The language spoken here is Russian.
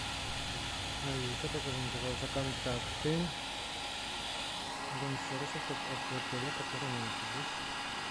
алиса покажи мне пожалуйста контакты рум сервиса отеля в котором я нахожусь